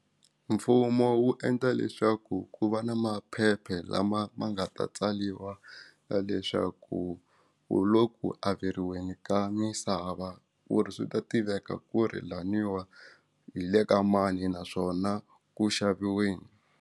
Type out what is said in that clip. Mfumo wu endla leswaku ku va na maphepha lama ma nga ta tsariwa ya leswaku u lo ku averiweni ka misava ku ri swi ta tiveka ku ri laniwa hi le ka mani naswona ku xaviweni.